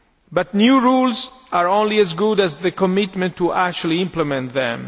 But new rules are only as good as the commitment to actually implement them.